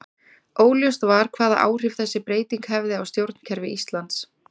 Óljóst var hvaða áhrif þessi breyting hefði á stjórnkerfi Íslands.